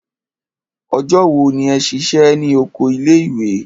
Ọjọ́ wo ni ẹ ṣiṣẹ́ ní oko ilé ìwé?